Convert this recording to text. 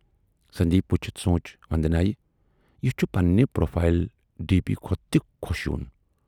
سندیپ وُچھِتھ سونچ وندنایہِ یہِ چھُ پننہِ پروفایل ڈی پی کھۅتہٕ تہِ خۅش یِوُن